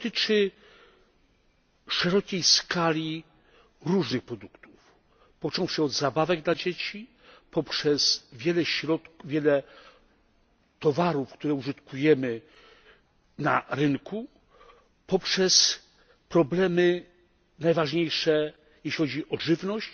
To dotyczy szerokiej skali różnych produktów, począwszy od zabawek dla dzieci poprzez wiele towarów, które użytkujemy na rynku, poprzez problemy najważniejsze, jeśli chodzi o żywność,